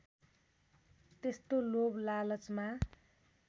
त्यस्तो लोभ लालचमा